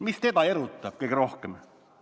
Mis teda erutab kõige rohkem?